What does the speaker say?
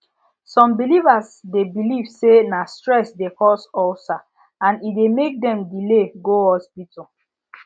some believers dey believe say na stress dey cause ulcer and e dey make dem delay go hospital